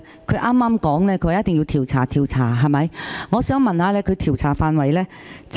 他剛才說一定要調查，我想問他有關調查範圍。